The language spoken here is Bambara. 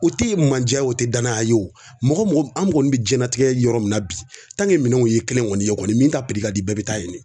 O tɛ mandiya ye o tɛ danaya ye wo mɔgɔ o mɔgɔ an kɔni bɛ jiyɛnlatigɛ yɔrɔ min na bi minɛnw ye kelen kɔni ye kɔni min ta kadi bɛɛ bɛ taa yen de